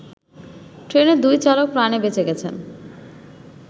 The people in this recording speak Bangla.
ট্রেনের দুই চালক প্রাণে বেঁচে গেছেন।